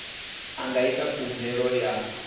a nga ita khumbelo ya